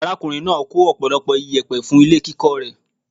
Arákùnrin náà kó ọ̀pọ̀lọpọ̀ iyẹ̀pẹ̀ fún ilé kíkọ́ rẹ̀.